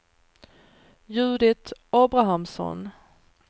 Judit Abrahamsson